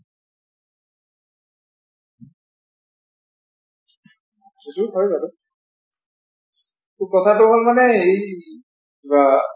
সেইটো হয় বাৰু। কথাটো হল মানে এই বা